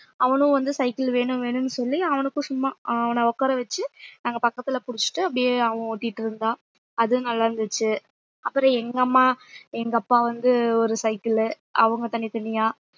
அவனும் வந்து cycle வேணும் வேணும்னு சொல்லி அவனுக்கும் சும்மா அவன உட்கார வச்சு நாங்க பக்கத்துல புடிச்சுட்டு அப்படியே அவன் ஓட்டிட்டு இருந்தான் அதுவும் நல்லா இருந்துச்சு அப்புறம் எங்க அம்மா எங்க அப்பா வந்து ஒரு cycle லு அவங்க தனித்தனியா